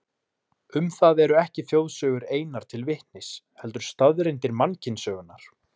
Um það eru ekki þjóðsögur einar til vitnis, heldur staðreyndir mannkynssögunnar.